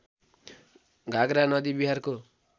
घागरा नदी बिहारको